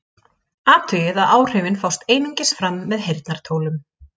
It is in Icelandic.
Athugið að áhrifin fást einungis fram með heyrnartólum.